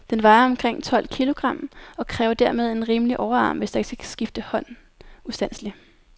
Den vejer omkring tolv kilogram, og kræver dermed en rimelig overarm, hvis der ikke skal skifte hånd ustandseligt.